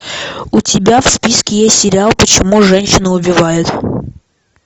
у тебя в списке есть сериал почему женщины убивают